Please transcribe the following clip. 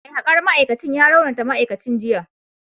Mai hakar ma’aikacin ya raunata ma’aikacin a jiya